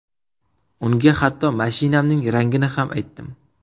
Unga hatto mashinamning rangini ham aytdim.